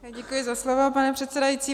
Děkuji za slovo, pane předsedající.